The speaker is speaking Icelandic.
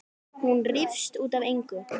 Hún rífst út af engu.